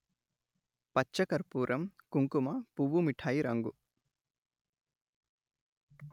పచ్చ కర్పూరం కుంకుమ పువ్వు మిఠాయి రంగు